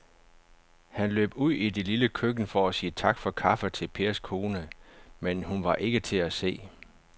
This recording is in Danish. Han løb ud i det lille køkken for at sige tak for kaffe til Pers kone, men hun var ikke til at se.